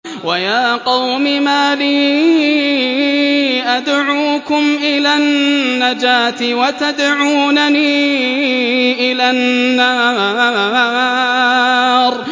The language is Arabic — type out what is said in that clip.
۞ وَيَا قَوْمِ مَا لِي أَدْعُوكُمْ إِلَى النَّجَاةِ وَتَدْعُونَنِي إِلَى النَّارِ